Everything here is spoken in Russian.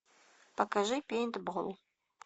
покажи пейнтбол